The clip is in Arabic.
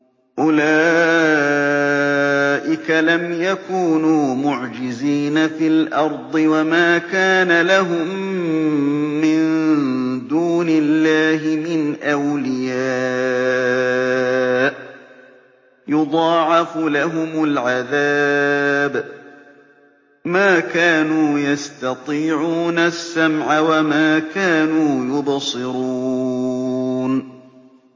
أُولَٰئِكَ لَمْ يَكُونُوا مُعْجِزِينَ فِي الْأَرْضِ وَمَا كَانَ لَهُم مِّن دُونِ اللَّهِ مِنْ أَوْلِيَاءَ ۘ يُضَاعَفُ لَهُمُ الْعَذَابُ ۚ مَا كَانُوا يَسْتَطِيعُونَ السَّمْعَ وَمَا كَانُوا يُبْصِرُونَ